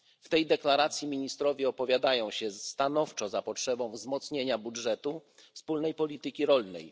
W tej deklaracji ministrowie opowiadają się stanowczo za potrzebą wzmocnienia budżetu wspólnej polityki rolnej.